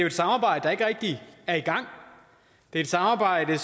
et samarbejde der ikke rigtig er i gang det er et samarbejde